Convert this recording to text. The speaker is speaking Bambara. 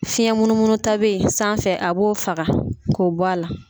Fiɲɛ munumunu ta bɛ ye sanfɛ a b'o faga ko bɔla.